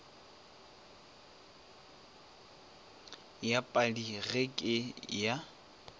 ya padi ye ke ya